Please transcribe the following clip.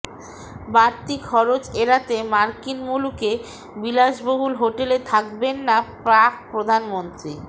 বাড়তি খরচ এড়াতে মার্কিন মুলুকে বিলাসবহুল হোটেলে থাকবেন না পাক প্রধানমন্ত্রী